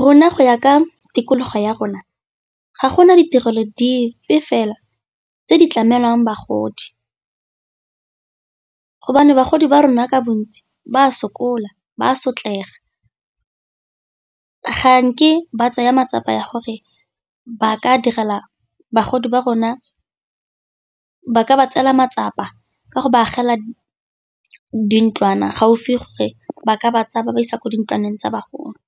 Rona go ya ka tikologo ya rona ga gona ditirelo dipe fela tse di tlamelwang bagodi, hobane bagodi ba rona ka bontsi ba sokola, ba sotlega, ga nke ba tsaya matsapa ya gore ba ka direla bagodi ba rona ba ka ba tseela matsapa ka go ba agela di ntlwana gaufi gore ba ka ba tsaya ba ba isa ko di ntlwaneng tsa bagolo.